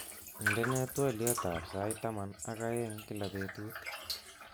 Indenee twoliotab sait taman ak aeng gila betut